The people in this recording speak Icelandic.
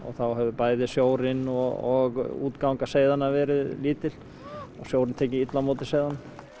þá hefur bæði sjórinn og útganga seiðanna verið lítil og sjórinn tekið illa á móti seiðunum